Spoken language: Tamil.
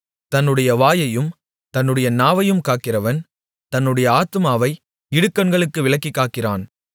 தன்னுடைய வாயையும் தன்னுடைய நாவையும் காக்கிறவன் தன்னுடைய ஆத்துமாவை இடுக்கண்களுக்கு விலக்கிக் காக்கிறான்